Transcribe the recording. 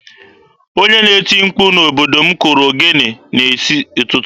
Onye na-eti mkpu n'obodo m kụrụ ogene n'isi ụtụtụ.